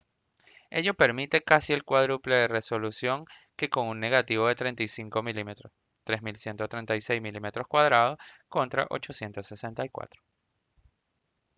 ello permite casi el cuádruple de resolución que con un negativo de 35 mm 3136 mm2 contra 864